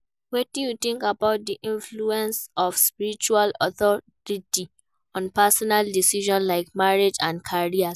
Wetin you think about di influence of spiritual authority on personal decisions, like marriage and career?